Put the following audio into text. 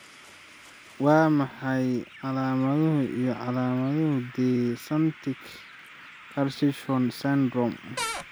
Waa maxay calaamadaha iyo calaamadaha De Sanctis Cacchione syndrome?